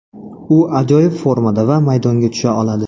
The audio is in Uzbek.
U ajoyib formada va maydonga tusha oladi.